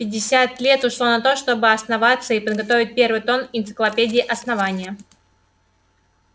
пятьдесят лет ушло на то чтобы основаться и подготовить первый том энциклопедии основания